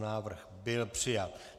Návrh byl přijat.